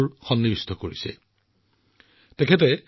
ইয়াৰ উপৰিও পেৰুমাল জীৰ আন এক আবেগো আছে